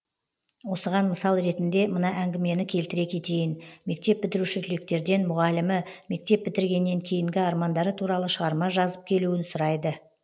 осыған мысал ретінде мына әңгімені келтіре кетейін мектеп бітіруші түлектерден мұғалімі мектеп бітіргеннен кейінгі армандары туралы шығарма жазып келуін сұрайды